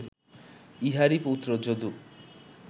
ইঁহারই পুত্র যদু